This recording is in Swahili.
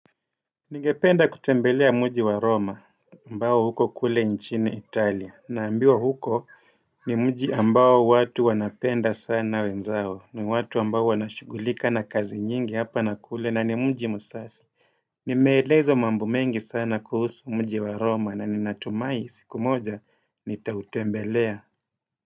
Ningependa kutembelea mji wa roma ambao uko kule nchini italia naambiwa huko ni mji ambao watu wanapenda sana wenzao ni watu ambao wanashughulika na kazi nyingi hapa nakule na ni mji msafi Nimeelezwa mambo mengi sana kuhusu mji wa roma na ninatumai siku moja nitautembelea.